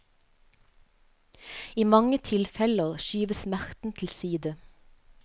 I mange tilfeller skyves smerten til side.